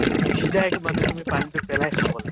সিজাই একে মানে তুমি পানীতো পেলাই খাব লাগে